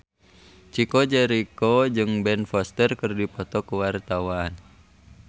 Chico Jericho jeung Ben Foster keur dipoto ku wartawan